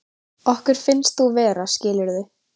Okkur finnst þú vera, skilurðu.